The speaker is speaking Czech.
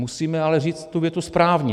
Musíme ale říct tu větu správně.